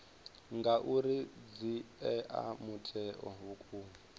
ngauri dzi ea mutheo vhukuma